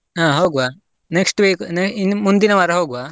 ಅಹ್ ಹೋಗ್ವಾ next week ಇನ್ ಮುಂದಿನ ವಾರ ಹೋಗ್ವಾ?